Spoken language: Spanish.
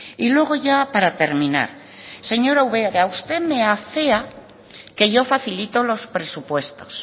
y luego ya para terminar señor ubera usted me afea que yo facilito los presupuestos